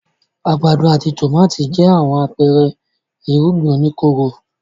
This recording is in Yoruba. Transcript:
Àgbàdo àti tòmátì jẹ́ àwọn àpẹẹrẹ irúgbìn oníkóró.